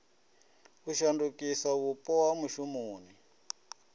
u shandukisa vhupo ha mushumoni